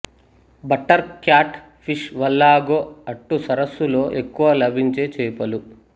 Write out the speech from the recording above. butter catfish వల్లాగో అట్టు సరస్సులో ఎక్కువగా లభించే చేపలు